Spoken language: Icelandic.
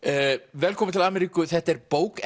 velkomin til Ameríku þetta er bók